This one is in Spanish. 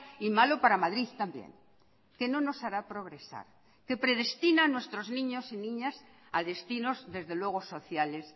y malo para madrid también que no nos hará progresar que predestina nuestros niños y niñas a destinos desde luego sociales